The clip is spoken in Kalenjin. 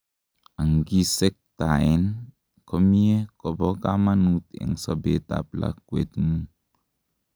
angisektaen komie kobo kamanut en sobet ab lakwetngung